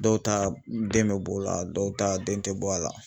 Dɔw ta den be bɔ o la dɔw ta den te bɔ a la